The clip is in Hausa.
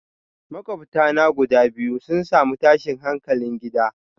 Makwabta na guda biyu sun samu tashin hankalin gida.